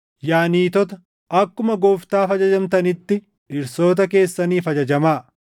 Yaa niitota, akkuma Gooftaaf ajajamtanitti dhirsoota keessaniif ajajamaa.